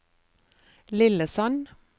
Lillesand